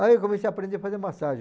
Aí eu comecei a aprender a fazer massagem.